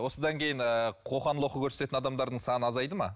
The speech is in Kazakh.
осыдан кейін ыыы қоқан лоққы көрсететін адамдардың саны азайды ма